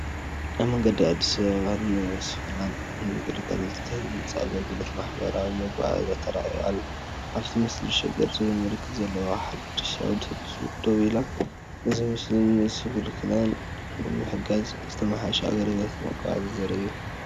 ኣብ መንገዲ ኣዲስ ኣበባ ንስንኩላን ንምግልጋል ዝተሃንጸ ኣገልግሎት ማሕበራዊ መጓዓዝያ ተራእዩ ኣሎ። ኣብቲ ምስሊ፡ “ሸገር” ዝብል ምልክት ዘለዋ ሓዳስ ኣውቶቡስ ደው ኢላ። እዚ ምስሊ ንስንኩላን ንምሕጋዝ ዝተመሓየሸ ኣገልግሎት መጓዓዝያ ዘርኢ እዩ።